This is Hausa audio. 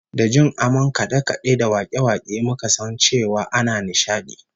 Da jin amon kade-kade da wake-wake muka san cewa ana nishadi